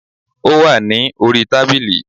Ó wà ní orí tábìlì